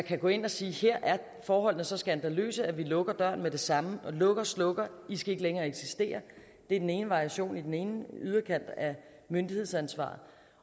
kan gå ind og sige at her er forholdene så skandaløse at man lukker døren med det samme man lukker og slukker i skal ikke længere eksistere det er den ene variation den ene yderkant af myndighedsansvaret